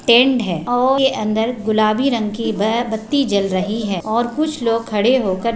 tent है और उके अंदर गुलाबी रंग की बह बत्ती जल रही है और कुछ लोग खड़े होकर--